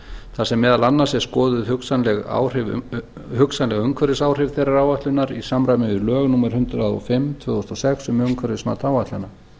þar sem meðal annars er skoðuð hugsanleg umhverfisáhrif þeirrar áætlunar í samræmi við lög númer hundrað og fimm tvö þúsund og sex um umhverfimat áætlana